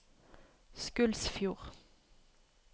Skulsfjord